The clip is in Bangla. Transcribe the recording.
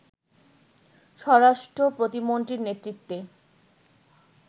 স্বরাষ্ট্র প্রতিমন্ত্রীর নেতৃত্বে